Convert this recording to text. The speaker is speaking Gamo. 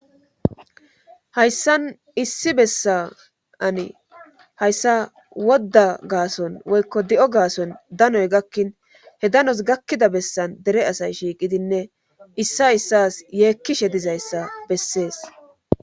Hayssan issi bessa ani hayssa wodda gaason woykko di7o gaason danoy gakkin he danos gakkida bessan dere asay shiiqidinne issa issas yeekkishe dizayssa bessees.